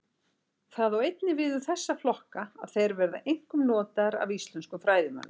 Það á einnig við um þessa flokka að þeir verða einkum notaðir af íslenskum fræðimönnum.